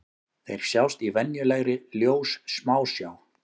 Þeir sjást í venjulegri ljóssmásjá.